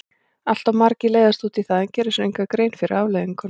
Allt of margir leiðast út í það en gera sér enga grein fyrir afleiðingunum.